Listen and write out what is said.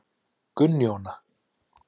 Gunnjóna